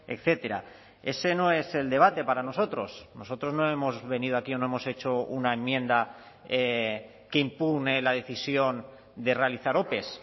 etcétera ese no es el debate para nosotros nosotros no hemos venido aquí no hemos hecho una enmienda que impugne la decisión de realizar ope